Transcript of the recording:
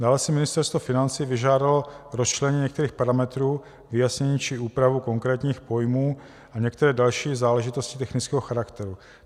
Dále si Ministerstvo financí vyžádalo rozčlenění některých parametrů, vyjasnění či úpravu konkrétních pojmů a některé další záležitosti technického charakteru.